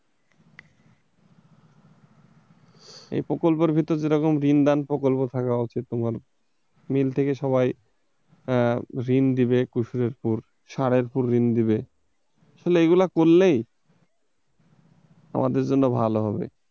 এ প্রকল্পের ভেতর যে রকম ঋণ দান প্রকল্প থাকা উচিত তোমার মিল থেকে সবাই ঋণ দিবে ওষুধের উপর, সারের উপর ঋণ দেবে, আসলে এগুলো করলেই আমাদের জন্য ভালো হবে।